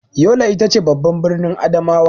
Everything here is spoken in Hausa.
Yola ita ce babban birnin Adamawa.